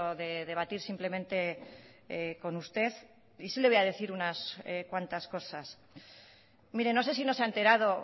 de debatir simplemente con usted y sí le voy a decir unas cuantas cosas mire no sé si no se ha enterado